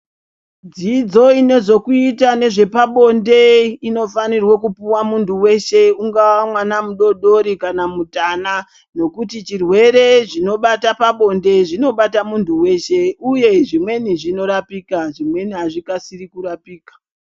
Dzidzo inozokuita nezvepabonde, inofanirwe kupuwa muntu weshe, ungamwana mudodori kana mutana, nokuti chirwere zvinobata pabonde izvi, zvinobata muntu weshe, uye zvimweni zvinorapika, zvimweni hazvikasiri kurapika.